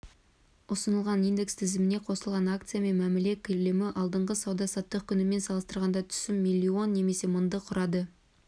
ұсынылған индекс тізіміне қосылған акциямен мәміле көлемі алдыңғы сауда-саттық күнімен салыстырғанда түсіп миллион немесе мыңды құрады